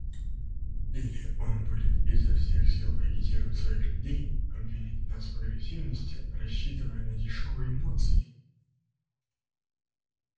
или он будет изо всех сил агитировать своих людей обвинять нас в агрессивности рассчитывая на дешёвые эмоции